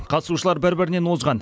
қатысушылар бір бірінен озған